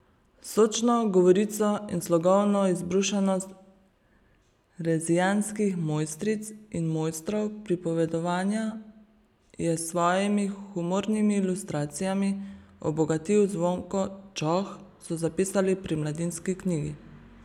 Sočno govorico in slogovno izbrušenost rezijanskih mojstric in mojstrov pripovedovanja je s svojimi humornimi ilustracijami obogatil Zvonko Čoh, so zapisali pri Mladinski knjigi.